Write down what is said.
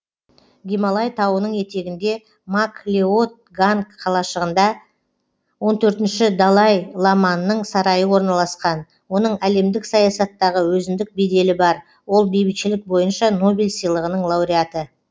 гималай тауының етегінде мак леод ганг қалашығында он төртінші далай ламаның сарайы орналасқан оның әлемдік саясаттағы өзіндік беделі бар ол бейбітшілік бойынша нобель сыйлығының лауреаты